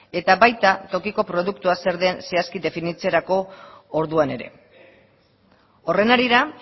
eta baita tokiko produktua zer den zehazki definitzerako orduan ere horren harira